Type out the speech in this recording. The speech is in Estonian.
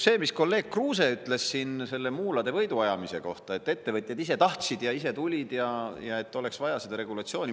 Kolleeg Kruuse ütles selle muulade võiduajamise kohta, et ettevõtjad ise tahtsid ja ise tulid ja et oleks vaja seda regulatsiooni.